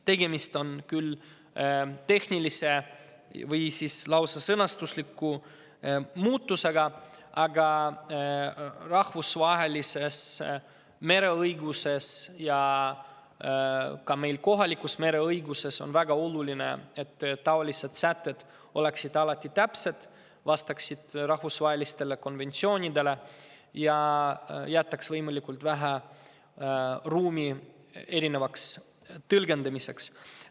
Tegemist on küll tehnilise või lausa sõnastusliku muudatusega, aga rahvusvahelises mereõiguses ja ka meie kohalikus mereõiguses on väga oluline, et niisugused sätted oleksid alati täpsed, vastaksid rahvusvahelistele konventsioonidele ning jätaks võimalikult vähe ruumi erinevaks tõlgendamiseks.